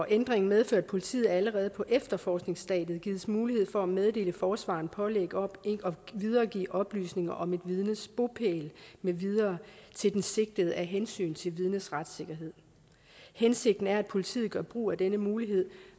ændringen medfører at politiet allerede på efterforskningsstadiet gives mulighed for at meddele forsvareren pålæg om ikke at videregive oplysninger om et vidnes bopæl med videre til den sigtede af hensyn til vidnets retssikkerhed hensigten er at politiet gør brug af denne mulighed